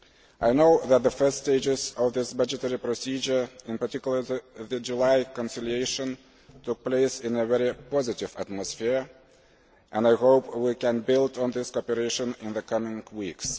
I know that the first stages of this budgetary procedure in particular the July conciliation took place in a very positive atmosphere, and I hope we can build on this cooperation in the coming weeks.